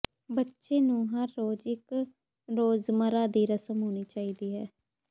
ਬੱਚੇ ਨੂੰ ਹਰ ਰੋਜ਼ ਇੱਕ ਰੋਜ਼ਮਰ੍ਹਾ ਦੀ ਰਸਮ ਹੋਣੀ ਚਾਹੀਦੀ ਹੈ